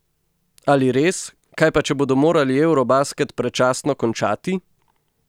Ali res, kaj pa če bodo morali eurobasket predčasno končati?